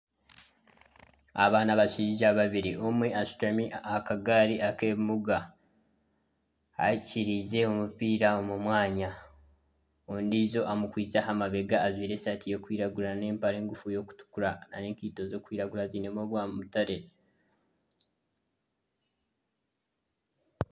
Aba ni abashaija babiri. Omwe ashutami aha kagari ak'ebimuga, akiirize omupiira omu mwanya, ondijo amukwitse aha mabega ajwaire esaati erikwiragura n'empare ngufu erikutukura n'enkeito zirikwiragura zirimu obwa mutare.